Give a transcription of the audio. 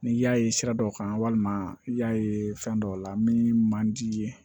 N'i y'a ye sira dɔw kan walima i y'a ye fɛn dɔw la min man di i ye